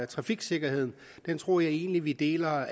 trafiksikkerheden den tror jeg egentlig vi deler